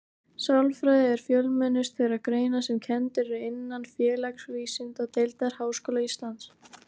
Sálfræði er fjölmennust þeirra greina sem kenndar eru innan Félagsvísindadeildar Háskóla Íslands.